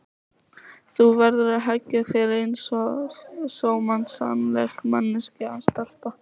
Þú verður að hegða þér einsog sómasamleg manneskja stelpa.